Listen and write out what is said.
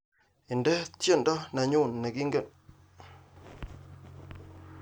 Indene tyendo nenyune negigem